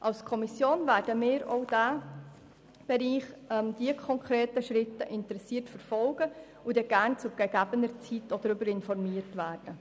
Als Kommission werden wir auch die konkreten Schritte in diesem Bereich interessiert verfolgen und möchten zu gegebener Zeit gerne auch darüber informiert werden.